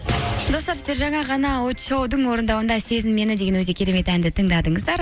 достар сіздер жаңа ғана очоу дың орындауында сезін мені деген өте керемет әнді тыңдадыңыздар